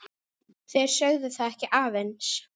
Þeir sögðu það ekki aðeins.